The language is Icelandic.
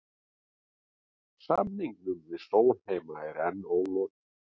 Samningum við Sólheima er enn ólokið